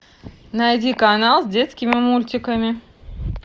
найди канал с детскими мультиками